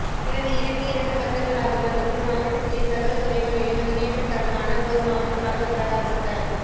எனது இலக்கு இரண்டு வருடங்களாகும் அதற்குள் மாவட்டத்தினை சகல துறைகளிலும் முன்னேற்ற கரமான ஒரு மாவட்டமாக பிரகாசிக்க